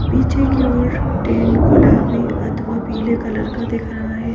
पीछे की ओर टेंड गुलाबी अथवा पीले कलर का दिख रहा है ।